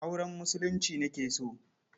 Auren Musulunci nake so.